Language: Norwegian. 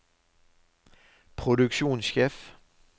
produksjonssjef